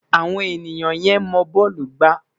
Awon enia ye mo bọọlu gba